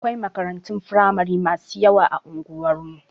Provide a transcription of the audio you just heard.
Akwai makarantun firamari masu yawa a unguwar mu.